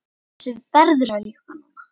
Þessu verður að ljúka núna